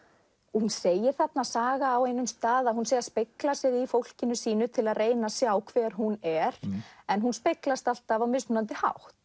hún segir þarna Saga á einum stað að hún sé að spegla sig í fólkinu sínu til að reyna að sjá hver hún er en hún speglast alltaf á mismunandi hátt